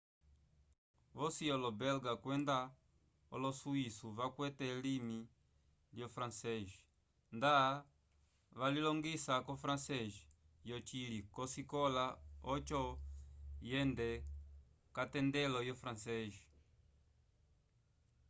vosi olo belga kwenda olosuiço vakwete elimi lyo frances nda valilongisa o frances yo cili ko sikola oco yende katendelo yo frances